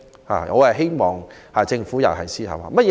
我希望政府就此思考一下。